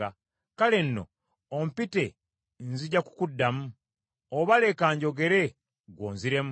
Kale nno ompite nzija kukuddamu, oba leka njogere ggwe onziremu.